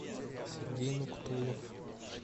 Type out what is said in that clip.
сергей нуктулов